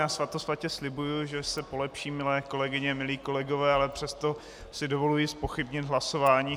Já svatosvatě slibuji, že se polepším, milé kolegyně, milí kolegové, ale přesto si dovoluji zpochybnit hlasování.